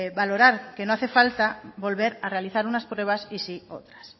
valorar que no hace falta volver a realizar unas pruebas y sí otras